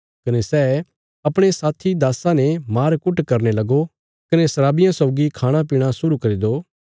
कने सै अपणे साथी दास्सा ने मार कुट करने लगो कने शराबियां सौगी खाणापीणा शुरु करी दो